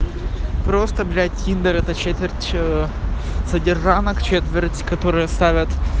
просто блять тиндер это четверть ээ содержанок четверть которые ставят